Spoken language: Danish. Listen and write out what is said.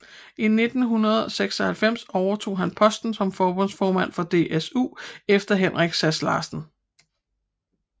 I 1996 overtog han posten som forbundsformand for DSU efter Henrik Sass Larsen